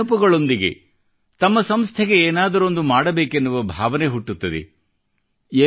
ಇವೇ ನೆನಪುಗಳೊಂದಿಗೆ ತಮ್ಮ ಸಂಸ್ಥೆಗೆ ಏನಾದರೊಂದು ಮಾಡಬೇಕೆನ್ನುವ ಭಾವನೆ ಹುಟ್ಟುತ್ತದೆ